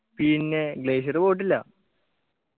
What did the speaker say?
പിന്നെ glacier പോയിട്ടില്ല